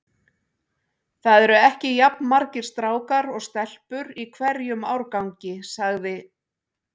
Það eru ekki jafn margir strákar og stelpur í hverjum árgangi sagði